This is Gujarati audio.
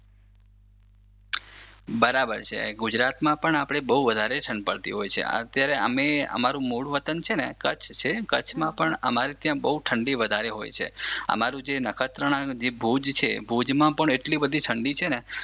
બરાબર છે ગુજરાતમાં પણ આપણે બહુ વધારે ઠંડ પડતી હોય છે, અત્યારે આમેય અમારું મૂળ વતન છે ને કચ્છ છે. કચ્છમાં પણ અમારે ત્યાં ઠંડી બહુ વધારે હોય છે. અમારું જે નખત્રાણા થી ભુજ છે ભુજમાં પણ એટલી ઠંડી છે